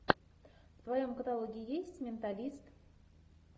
в твоем каталоге есть менталист